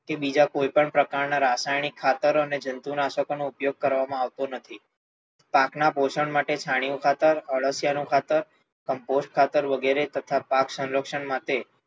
કે બીજા કોઈ પણ પ્રકાર ના રાસાયણિક ખાતરો અને જંતુનાશકો નો ઉપયોગ કરવામાં આવતો નથી. પાક ના પોષણ માટે છાણિયું ખાતર, આળસિયા નું ખાતર Compost ખાતર વગેરે તથા પાક સંરક્ષણ માટે